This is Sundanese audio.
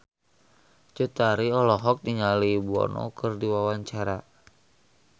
Cut Tari olohok ningali Bono keur diwawancara